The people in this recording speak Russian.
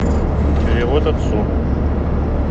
перевод отцу